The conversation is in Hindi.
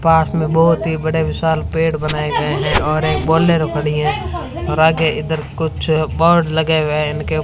पास में बहोत ही बड़े विशाल पेड़ बनाए गए हैं और एक बोलोरो खड़ी है और आगे इधर कुछ बोर्ड लगे हुए ईनके--